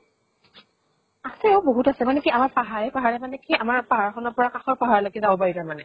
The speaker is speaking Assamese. আছে, বহুত আছে। মানে কি আমাৰ পাহাৰে পাহাৰে মানে কি আমাৰ পাহাৰ খনৰ পৰা কাষৰ পাহাৰলৈকে যাব পাৰি তাৰ মানে।